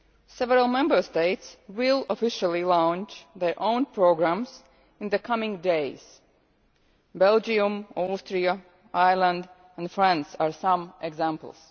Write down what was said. Several Member States will officially launch their own programmes in the coming days Belgium, Austria, Ireland and France are some examples.